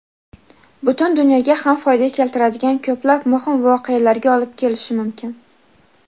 butun dunyoga ham foyda keltiradigan ko‘plab muhim voqealarga olib kelishi mumkin.